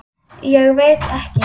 Ég veit ekki.